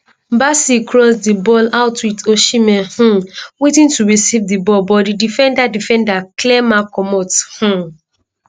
bassey cross di ball out wit osihmen um waiting to receive di ball but di defender defender clear ma comot um